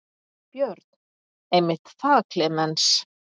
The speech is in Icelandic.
Björn: Einmitt það Klemenz.